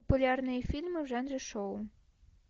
популярные фильмы в жанре шоу